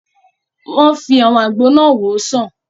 Wọ́n fi àwọn àgbo náà wòó sàn